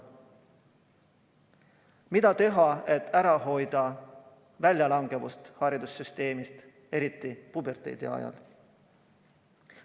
Mida teha, et ära hoida koolist välja langemist, mida on eriti palju puberteediealiste seas?